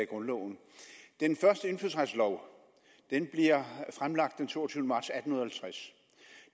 grundloven den første indfødsretslov bliver fremlagt den toogtyvende marts atten halvtreds